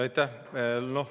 Aitäh!